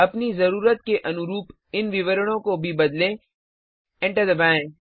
अपनी जरूरत के अनुरूप इन विवरणों को भी बदलें एंटर दबाएँ